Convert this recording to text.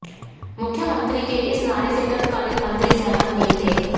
मुख्यमंत्री के इस नारे से तत्कालीन मंत्री सहमत नहीं थे